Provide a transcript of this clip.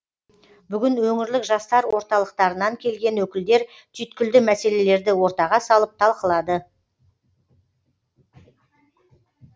бүгін өңірлік жастар орталықтарынан келген өкілдер түйткілді мәселелерді ортаға салып талқылады